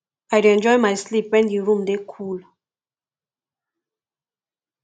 i dey enjoy my sleep wen di room dey cool